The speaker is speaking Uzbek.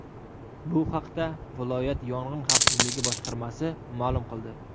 Bu haqda viloyat yong‘in xavfsizligi boshqarmasi ma’lum qildi .